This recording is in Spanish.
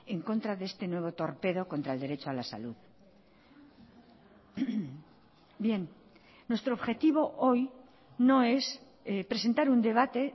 en contra de este nuevo torpedo contra el derecho a la salud bien nuestro objetivo hoy no es presentar un debate